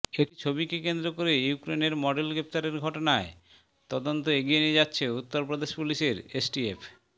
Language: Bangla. একটি ছবিকে কেন্দ্র করে ইউক্রেনের মডেল গ্রেন্তারের ঘটনায় তদন্ত এগিয়ে নিয়ে যাচ্ছে উত্তরপ্রদেশ পুলিশের এসটিএফ